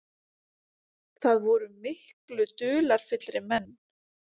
Það voru miklu dularfyllri menn.